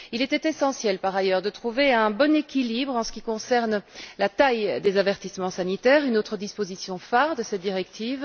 Il était essentiel, par ailleurs, de trouver un bon équilibre en ce qui concerne la taille des avertissements sanitaires, autre disposition phare de cette directive.